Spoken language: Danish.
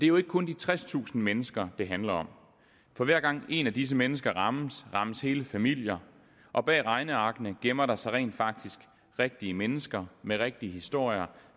jo ikke kun de tredstusind mennesker det handler om for hver gang et af disse mennesker rammes rammes hele familier og bag regnearkene gemmer der sig rent faktisk rigtige mennesker med rigtige historier